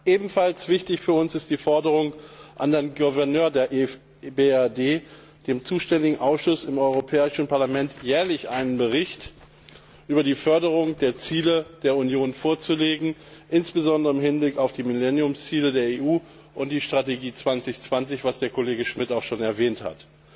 Ebenfalls wichtig für uns ist die Forderung an den Gouverneur der EBRD, dem zuständigen Ausschuss im Europäischen Parlament jährlich einen Bericht über die Förderung der Ziele der Union vorzulegen, insbesondere im Hinblick auf die Millenniumsziele der EU und die Strategie Europa2020, was Kollege Schmidt auch schon erwähnt hat.